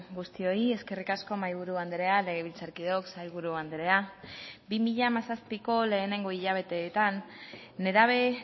guztioi eskerrik asko mahaiburu andrea legebiltzarkideok sailburu andrea bi mila hamazazpiko lehenengo hilabeteetan nerabe